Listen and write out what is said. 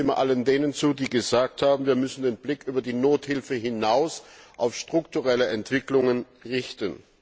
Ich stimme all jenen zu, die gesagt haben, wir müssen den Blick über die Nothilfe hinaus auf strukturelle Entwicklungen richten.